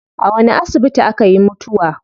A wani asibiti akayi mutuwa?